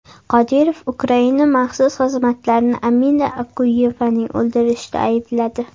Qodirov Ukraina maxsus xizmatlarini Amina Okuyevani o‘ldirishda aybladi.